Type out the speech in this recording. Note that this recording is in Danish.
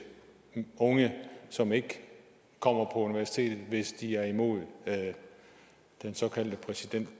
unge som ikke kommer på universitetet hvis de er imod den såkaldte præsident